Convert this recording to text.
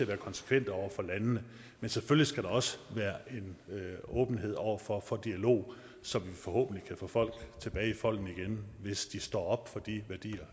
være konsekvente over for landene men selvfølgelig skal der også være en åbenhed over for for dialog så vi forhåbentlig kan få folk tilbage i folden igen hvis de står op for de værdier